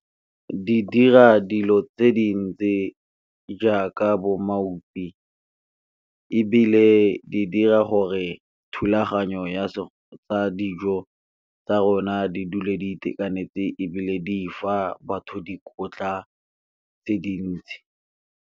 Di dira dilo tse dintsi jaaka bo , ebile di dira gore thulaganyo ya dijo tsa rona di dule di itekanetse ebile di fa batho dikotla tse dintsi.